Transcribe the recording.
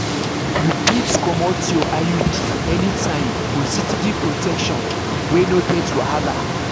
you fit comot your iud anytime for steady protection wey no get wahala.